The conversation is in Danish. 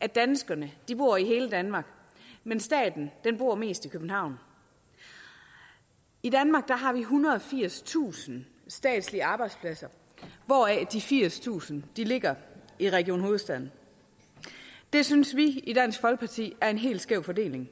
at danskerne bor i hele danmark men staten bor mest i københavn i danmark har vi ethundrede og firstusind statslige arbejdspladser hvoraf de firstusind ligger i region hovedstaden det synes vi i dansk folkeparti er en helt skæv fordeling